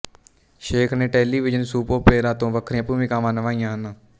ਸ਼ੇਖ ਨੇ television soap opera ਤੇ ਵੱਖਰੀਆਂ ਭੂਮਿਕਾਵਾਂ ਨਿਭਾਈਆਂ ਹਨ